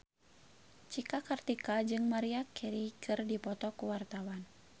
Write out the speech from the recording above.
Cika Kartika jeung Maria Carey keur dipoto ku wartawan